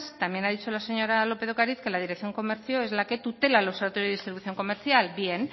también ha dicho la señora lópez de ocariz que la dirección comercio es la que tutela el observatorio de distribución comercial bien